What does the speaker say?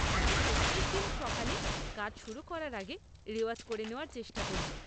আমি প্রত্যেকদিন সকালে কাজ শুরু করার আগে রেওয়াজ করে নেওয়ার চেষ্টা করি।